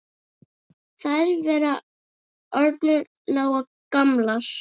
Þær væru orðnar nógu gamlar.